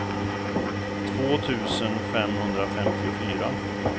två tusen femhundrafemtiofyra